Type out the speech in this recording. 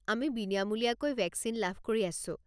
আমি বিনামূলীয়াকৈ ভেকচিন লাভ কৰি আছোঁ।